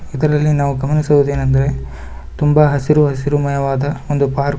ಇದರಲ್ಲಿ ನಾವು ಗಮನಿಸುವುದೇನೆಂದರೆ ತುಂಬಾ ಹಸಿರು ಹಸಿರುಮಯವಾದ ಒಂದು ಪಾರ್ಕ್ ಮತ್ತು --